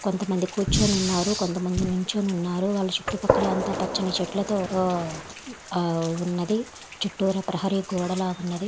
కొంతమంది కూర్చొనివున్నారు. కొంతమంది నిల్చోని ఉన్నారు. వాళ్ళ చుట్టుపక్కల అంతా పచ్చని చెట్లతో వున్నది చుట్టూరా ప్రహరీ గోడలాగా వున్నది.